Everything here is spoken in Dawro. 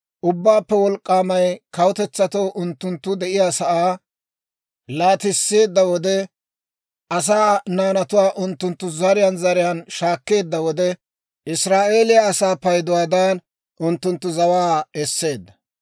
Ubbaappe D'ok'k'ay kawutetsatoo unttunttu de'iyaasaa laatisseedda wode, asaa naanatuwaa unttunttu zariyaan zariyaan shaakkeedda wode, Israa'eeliyaa asaa payduwaadan, unttunttu zawaa esseedda.